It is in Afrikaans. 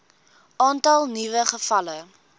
aantal nuwe gevalle